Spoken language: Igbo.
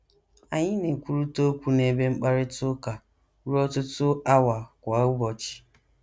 Anyị na - ekwurịta okwu n’ebe mkparịta ụka ruo ọtụtụ awa kwa ụbọchị.